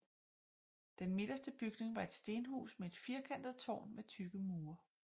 Den midterste bygning var et stenhus med et firkantet tårn med tykke mure